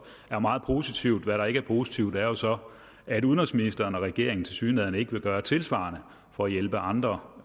er meget positivt hvad der ikke er positivt er jo så at udenrigsministeren og regeringen tilsyneladende ikke vil gøre tilsvarende for at hjælpe andre